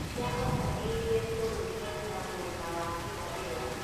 Ciahobanĩirie bũrũri kuuma mwena wa irathĩro